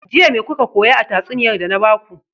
Jiya me kuka koya a tatsuniyar da na baku?